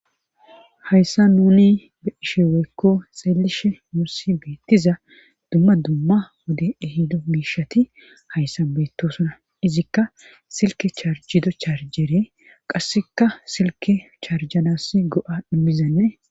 hayssa nuni be ishe weekko xeelishe muussi beettiza dumma dumma wode ehido miishati hayssa beettosuna izikka silke charjido charjere qasseka silke charjanass go7a dhimizanne